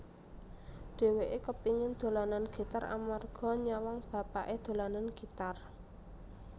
Dhèwèké kepéngin dolanan gitar amarga nyawang bapaké dolanan gitar